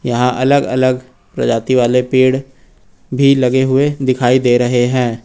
यहां अलग अलग प्रजाति वाले पेड़ भी लगे हुए दिखाई दे रहे हैं।